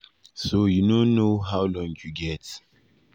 so you no know how long you get.